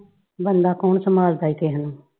ਬੰਦਾ ਕੌਣ ਸੰਭਾਲ ਦਾ ਈ ਕਿਸੇ ਨੂੰ?